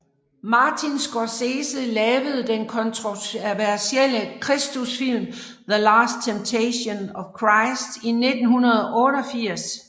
Martin Scorsese lavede den kontroversielle kristusfilm The Last Temptation of Christ i 1988